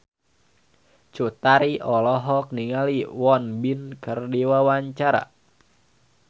Cut Tari olohok ningali Won Bin keur diwawancara